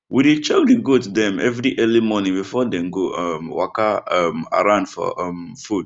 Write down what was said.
we dey check the goat dem every early morning before dem go um waka um around for um food